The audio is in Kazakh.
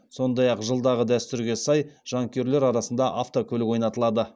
сондай ақ жылдағы дәстүрге сай жанкүйерлер арасында автокөлік ойнатылады